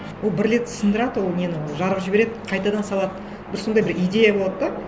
ол бір рет сындырады ол нені жарып жібереді қайтадан салады бір сондай бір идея болады да